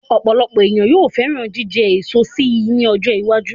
Ọ̀pọ̀lọpọ̀ ènìyàn yóò fẹ́ràn jíjẹ eso si ní ọjọ́ iwájú